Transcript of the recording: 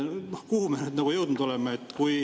Kuhu me jõudnud oleme?